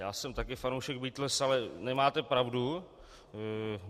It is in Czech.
Já jsem taky fanoušek Beatles, ale nemáte pravdu.